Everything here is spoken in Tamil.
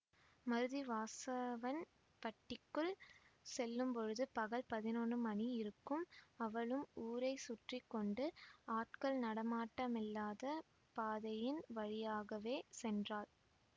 மருதி வாசவன்பட்டிக்குள் செல்லும்பொழுது பகல் பதினொன்னு மணியிருக்கும் அவளும் ஊரை சுற்றி கொண்டு ஆட்கள் நடமாட்டமில்லாத பாதையின் வழியாகவே சென்றாள்